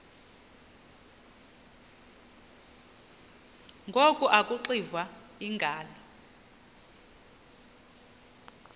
ngoku akuxiva iingalo